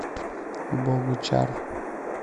богучар